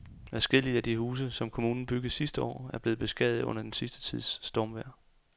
Adskillige af de huse, som kommunen byggede sidste år, er blevet beskadiget under den sidste tids stormvejr.